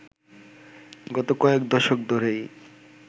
গত কয়েক দশক ধরেই